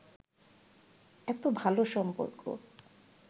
এতো ভালো সম্পর্ক